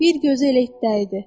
Bir gözü elə itdə idi.